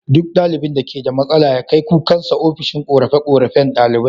Duk ɗalibin da keda matsala ya kai kukansa ofishin korafe korafen ɗalibai